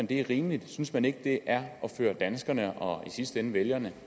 det er rimeligt synes man ikke det er at føre danskerne og i sidste ende vælgerne